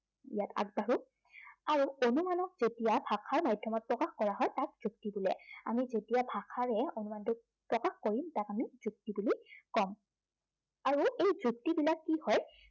ইয়াত আগবাঢ়ো। আৰু অনুমানক যেতিয়া ভাষাৰ মাধ্য়মত প্ৰকাশ কৰা হয় তাক যুক্তি বোলে। আমি যেতিয়া ভাষাৰে অনুমানটোক প্ৰকাশ কৰিম তাক আমি যুক্তি বুলি কম আৰু এই যুক্তবিলাক কি হয়